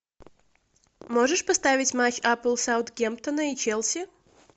можешь поставить матч апл саутгемптона и челси